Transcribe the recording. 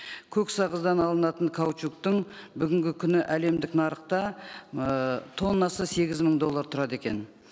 көк сағыздан алынатын каучуктың бүгінгі күні әлемдік нарықта ыыы тоннасы сегіз мың доллар тұрады екен